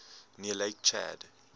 near lake chad